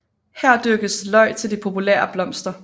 Her dyrkes løg til de populære blomster